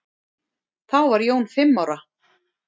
Þá var Jón fimm ára.